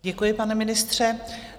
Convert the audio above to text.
Děkuji, pane ministře.